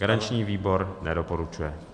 Garanční výbor nedoporučuje.